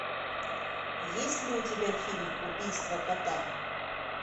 есть ли у тебя фильм убийство кота